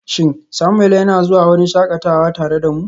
Shin Samuel yana zuwa wurin shakatawa tare da mu?